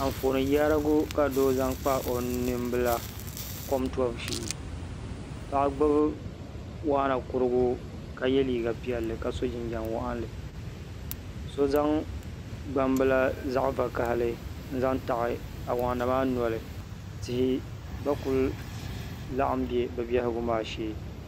Anfooni yaarigu ka doo zaŋ kpa o nimbila kom toobu shee paɣa gbubi waana kurigu ka ye liiga piɛlli ka so jinjam waɣinli so zaŋ gbambila zaɣ’ vakahili n-zaŋ taɣi awaana maa noli tihi gba kuli laɣim be bɛ behigu maa shee